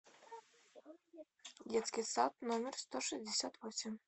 детский сад номер сто шестьдесят восемь